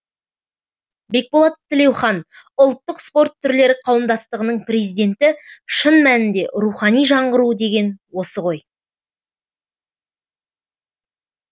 бекболат тілеухан ұлттық спорт түрлері қауымдастығының президенті шын мәнінде рухани жаңғыру деген осы ғой